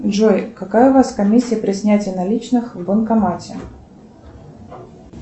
джой какая у вас комиссия при снятии наличных в банкомате